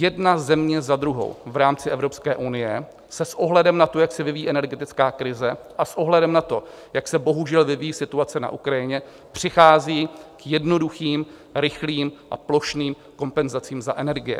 Jedna země za druhou v rámci Evropské unie se s ohledem na to, jak se vyvíjí energetická krize a s ohledem na to, jak se bohužel vyvíjí situace na Ukrajině, přichází k jednoduchým, rychlým a plošným kompenzacím za energie.